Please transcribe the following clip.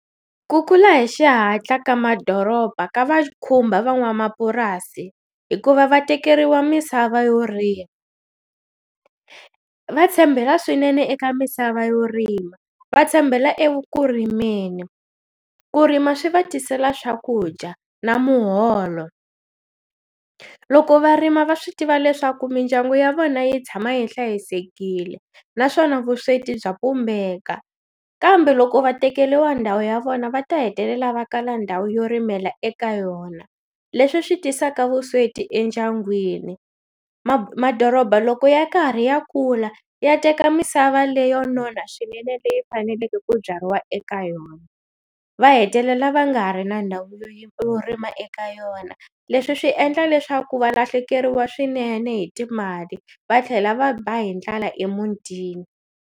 Ku kula hi xihatla ka madoroba ka va khumba van'wamapurasi hikuva va tekeriwa misava yo rima, va tshembela swinene eka misava yo rima va tshembela e vu kurimeni ku rima swi va tisela swakudya na muholo, loko varima va swi tiva leswaku mindyangu ya vona yi tshama yi hlayisekile naswona vusweti bya pumbeka kambe loko va tekeliwa ndhawu ya vona va ta hetelela va kala ndhawu yo rimela eka yona leswi swi tisaka vusweti endyangwini madoroba loko ya karhi ya kula ya teka misava leyo nona swinene leyi faneleke ku byariwa eka yona va hetelela va nga ha ri na ndhawu leyi u rima eka yona leswi swi endla leswaku valahlekeriwa swinene hi timali va tlhela va ba hi ndlala emutini.